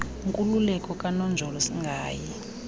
nkululeko kananjolo singayi